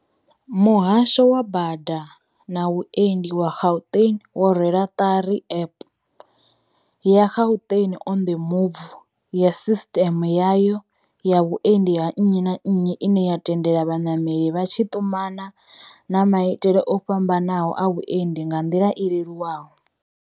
Muhasho wa Bada na Vhuendi wa Gauteng wo rwela ṱari App, ya Gauteng on the Move, ya sisiteme yayo ya vhuendi ha nnyi na nnyi ine ya tendela vhanameli vha tshi ṱumana na maitele o fhamba naho a vhuendi nga nḓila i leluwaho.